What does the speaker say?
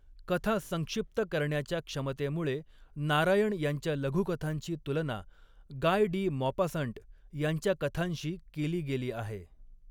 कथा संक्षिप्त करण्याच्या क्षमतेमुळे नारायण यांच्या लघुकथांची तुलना गाय डी मॉपासंट यांच्या कथांशी केली गेली आहे.